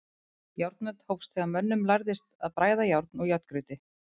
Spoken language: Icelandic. Járnöld hófst þegar mönnum lærðist að bræða járn úr járngrýti.